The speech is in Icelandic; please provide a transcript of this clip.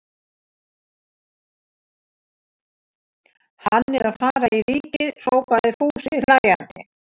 Hann er að fara í Ríkið! hrópaði Fúsi hlæjandi.